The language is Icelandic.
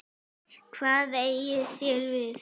Hvað eigið þér við?